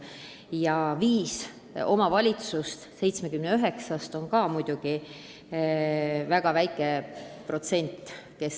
Ja viis omavalitsust 79-st on ka muidugi väga väike protsent.